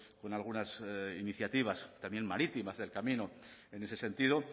con algunas iniciativas también marítimas del camino en ese sentido